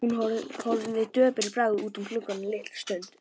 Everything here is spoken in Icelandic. Hún horfði döpur í bragði út um gluggann litla stund.